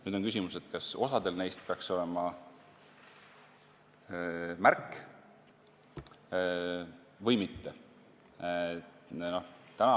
Nüüd on küsimus, kas osal neist peaks olema märk või mitte.